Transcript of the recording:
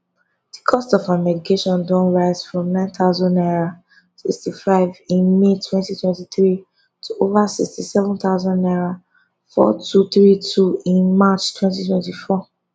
di cost of her medication don rise from 9000 naira 65 in may 2023 to over 67000 naira 4234 in march 2024